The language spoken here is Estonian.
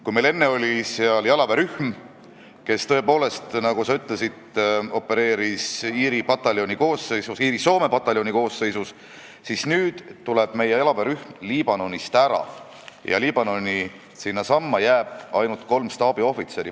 Kui meil enne oli seal jalaväerühm, kes tõepoolest, nagu sa ütlesid, kuulus Iiri-Soome pataljoni koosseisu, siis nüüd tuleb meie jalaväerühm Liibanonist ära ja Liibanoni jäävad ainult kolm staabiohvitseri.